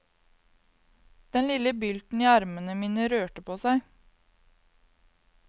Den lille bylten i armene mine rørte på seg.